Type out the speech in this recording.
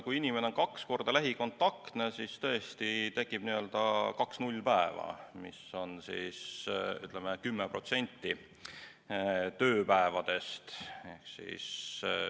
Kui inimene on kaks korda lähikontaktne, siis tõesti tekib kaks nullpäeva, mis on umbes 10% tööpäevadest.